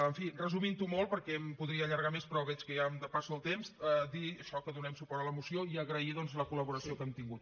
en fi resumint ho molt perquè m’hi podria allargar més però veig que ja em depasso el temps dir això que donem suport a la moció i agrair doncs la col·laboració que hem tingut